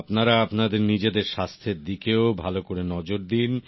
আপনারা আপনাদের নিজেদের স্বাস্থের দিকেও ভাল করে নজর দিন